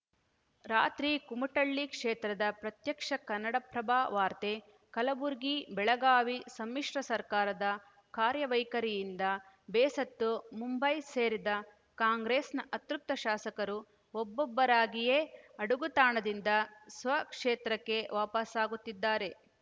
ರಾತ್ರಿ ಕುಮಟಳ್ಳಿ ಕ್ಷೇತ್ರದಲ್ಲಿ ಪ್ರತ್ಯಕ್ಷ ಕನ್ನಡಪ್ರಭ ವಾರ್ತೆ ಕಲಬುರಗಿಬೆಳಗಾವಿ ಸಮ್ಮಿಶ್ರ ಸರ್ಕಾರದ ಕಾರ್ಯವೈಖರಿಯಿಂದ ಬೇಸತ್ತು ಮುಂಬೈ ಸೇರಿದ್ದ ಕಾಂಗ್ರೆಸ್‌ನ ಅತೃಪ್ತ ಶಾಸಕರು ಒಬ್ಬೊಬ್ಬರಾಗಿಯೇ ಅಡಗುತಾಣದಿಂದ ಸ್ವ ಕ್ಷೇತ್ರಕ್ಕೆ ವಾಪಸಾಗುತ್ತಿದ್ದಾರೆ